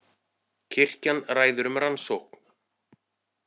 Kirkjan ræðir um rannsókn